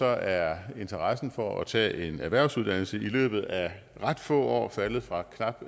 er interessen for at tage en erhvervsuddannelse i løbet af ret få år faldet fra knap